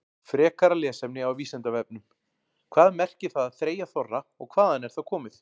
Frekara lesefni á Vísindavefnum: Hvað merkir það að þreyja þorra og hvaðan er það komið?